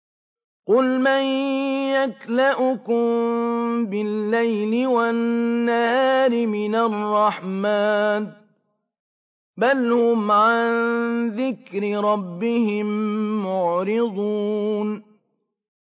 قُلْ مَن يَكْلَؤُكُم بِاللَّيْلِ وَالنَّهَارِ مِنَ الرَّحْمَٰنِ ۗ بَلْ هُمْ عَن ذِكْرِ رَبِّهِم مُّعْرِضُونَ